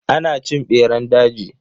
Ana cin beran daji.